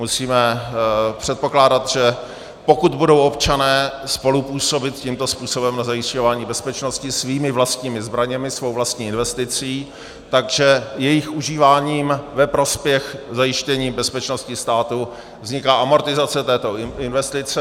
Musíme předpokládat, že pokud budou občané spolupůsobit tímto způsobem na zajišťování bezpečnosti svými vlastními zbraněmi, svou vlastní investicí, tak jejich užíváním ve prospěch zajištění bezpečnosti státu vzniká amortizace této investice.